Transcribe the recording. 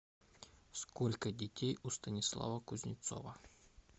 сколько детей у станислава кузнецова